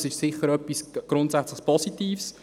Das ist sicher etwas grundsätzlich Positives.